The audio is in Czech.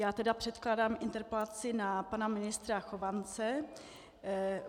Já tedy předkládám interpelaci na pana ministra Chovance.